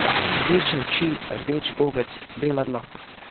Rdeče oči, rdeč gobec, bela dlaka.